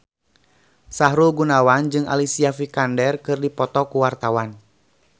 Sahrul Gunawan jeung Alicia Vikander keur dipoto ku wartawan